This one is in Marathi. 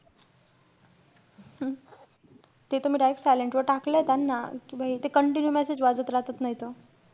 ते त मी direct silent वर टाकलेय त्यांना कि ते continue message वाजत राहतात नाई तर.